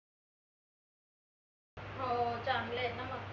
हो चांगलंय न मग